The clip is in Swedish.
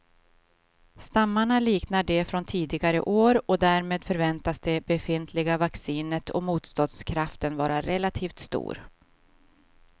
Stammarna liknar de från tidigare år och därmed förväntas det befintliga vaccinet och motståndskraften vara relativt stor.